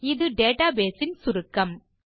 இது டேட்டாபேஸ் இன் சுருக்கம்